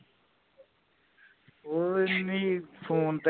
ਓਵੀ ਈ ਨਹੀਂ ਫੋਨ ਤੇ